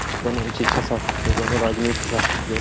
कोनो शिक्षा शास्त्र के कोनो राजनीति शास्त्र के।